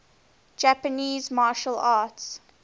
japanese martial arts